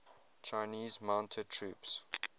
chinese mounted troops